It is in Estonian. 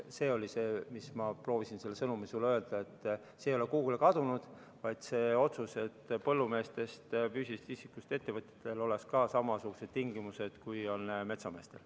See oli see sõnum, mida ma proovisin sulle öelda: see ei ole kuhugi kadunud, see otsus, et põllumeestel, kes on füüsilisest isikust ettevõtjad, oleksid samasugused tingimused, kui on metsameestel.